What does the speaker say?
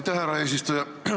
Aitäh, härra eesistuja!